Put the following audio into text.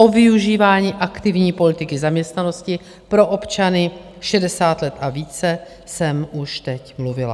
O využívání aktivní politiky zaměstnanosti pro občany 60 let a více jsem už teď mluvila.